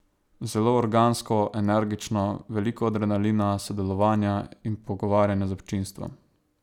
Zelo organsko, energično, veliko adrenalina, sodelovanja in pogovarjanja z občinstvom.